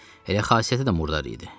Elə xasiyyəti də murdar idi.